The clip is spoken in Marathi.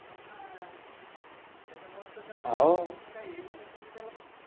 हो ना त्याच्यामुळे तर त्याला दुसरं काही हे वाटत नाही त्याला बघ